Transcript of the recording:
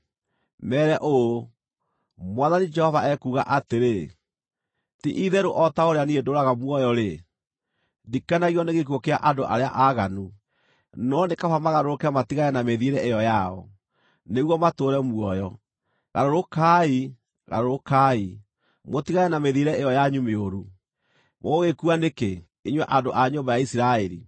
Meere ũũ, ‘Mwathani Jehova ekuuga atĩrĩ: Ti-itherũ o ta ũrĩa niĩ ndũũraga muoyo-rĩ, ndikenagio nĩ gĩkuũ kĩa andũ arĩa aaganu, no nĩ kaba magarũrũke matigane na mĩthiĩre ĩyo yao, nĩguo matũũre muoyo. Garũrũkai! Garũrũkai, mũtigane na mĩthiĩre ĩyo yanyu mĩũru! Mũgũgĩkua nĩkĩ, inyuĩ andũ a nyũmba ya Isiraeli?’